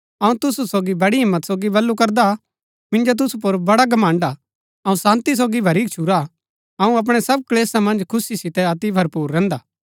अऊँ तुसु सोगी बड़ी हिम्मत सोगी बल्लू करदा मिन्जो तुसु पुर बड़ा घमण्ड़ हा अऊँ शान्ती सोगी भरी गच्छुरा हा अऊँ अपणै सब क्‍लेशा मन्ज खुशी सितै अति भरपुर रैहन्दा